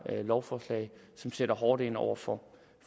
her lovforslag som sætter hårdt ind over for